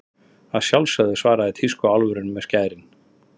Að sjálfsögðu, svaraði tískuálfurinn með skærin.